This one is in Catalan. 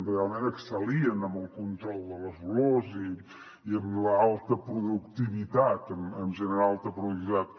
realment excel·lien en el control de les olors i en l’alta productivitat en generar alta productivitat